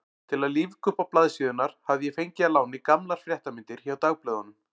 Til að lífga uppá blaðsíðurnar hafði ég fengið að láni gamlar fréttamyndir hjá dagblöðunum.